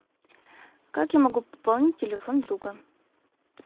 как я могу пополнить телефон друга